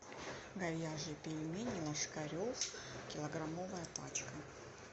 говяжьи пельмени ложкарев килограммовая пачка